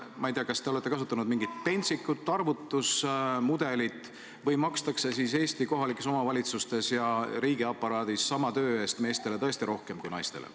Ma ei tea, kas te olete kasutanud mingit pentsikut arvutusmudelit või makstakse Eesti kohalikes omavalitsustes ja riigiaparaadis sama töö eest meestele tõesti rohkem kui naistele.